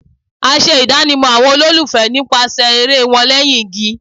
A ṣe idanimọ awọn ololufẹ nipasẹ ere wan lẹhin igi